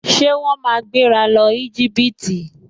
Ṣé wọ́n máa gbéra lọ Íjíbítì?